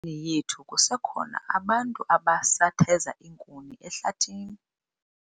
Elalini yethu kusekho abantu abasatheza iinkuni ehlathini.